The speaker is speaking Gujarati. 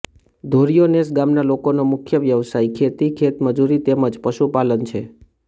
ધોરીયો નેસ ગામના લોકોનો મુખ્ય વ્યવસાય ખેતી ખેતમજૂરી તેમ જ પશુપાલન છે